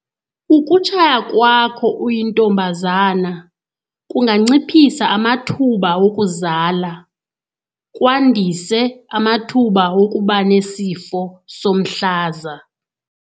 Ukutshaya kwakho uyintombazana kunganciphisa amathuba wokuzala, kwandise amathuba wokuba nesifo somhlaza.